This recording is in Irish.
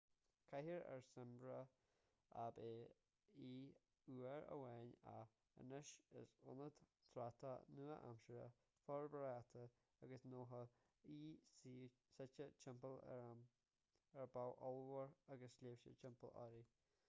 cathair ársa smyrna ab ea í uair amháin ach anois is ionad tráchtála nua-aimseartha forbartha agus gnóthach í suite timpeall ar bhá ollmhór agus sléibhte timpeall uirthi